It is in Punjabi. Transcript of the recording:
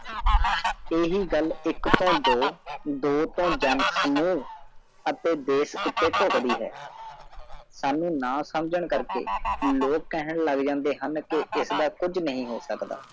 ਹੀ ਗੱਲ ਇਕ ਤੋਂ ਦੋ ਜਗਸਾਨ ਅਤੇ ਦੇਸ਼ ਉਤੇ ਭੁਗਦੀ ਸਾਨੂ ਨਾ ਸ਼ਮਝਹਾਂ ਕਾਰ ਕੇ ਲੋਕ ਕਾਹਨ ਲਗ ਜਾਂਦੇ ਹਨ ਕੀ ਇਸ ਦਾ ਕੁਛ ਨਹੀ ਹੋ ਸਕਦਾ